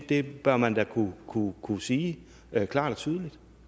det bør man da kunne kunne sige klart og tydeligt